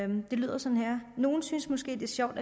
det lyder sådan her nogen synes måske det er sjovt